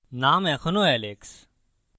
name এখনও alex